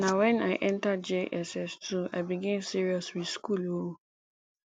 na wen i enta jss2 i begin serious with school o